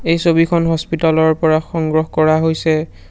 এই ছবিখন হস্পিটালৰ পৰা সংগ্ৰহ কৰা হৈছে।